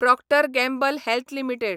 Procter Gamble Health limited